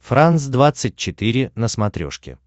франс двадцать четыре на смотрешке